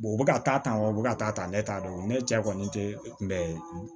u bɛ ka taa tan wa u bɛ ka taa tan ne t'a dɔn ne cɛ kɔni tɛ tun bɛ